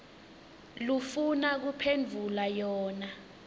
lofuna kuphendvula yona